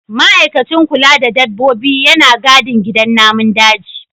Ma'aikacin kula da dabbobi yana gadin gidan namun daji.